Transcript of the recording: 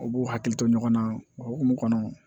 U b'u hakili to ɲɔgɔn na o hukumu kɔnɔ